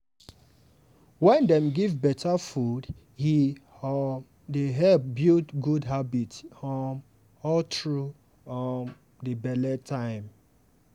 wen dem give better food e um dey help build good habit um all through um di belle time.